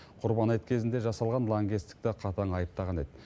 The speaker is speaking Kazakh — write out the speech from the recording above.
құрбан айт кезінде жасалған лаңкестікті қатаң айыптаған еді